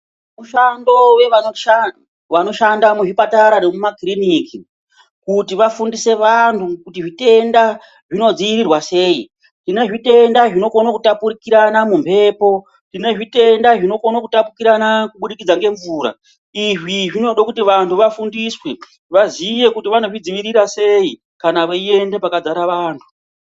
Mishando wevanoshanda muzvipatara nemuma kiriniki, kuti vafundise vantu kuti zvitenda zvinodziirirwa sei. Tine zvitenda zvinokona kutapukirana mumhepo, tine zvitenda zvinokona kutapukirana kubudikidza ngemvura. Izvi zvinode kuti vantu vafundiswe, vaziye kuti vanozvidzivirira sei kana veienda pakadzara vantu.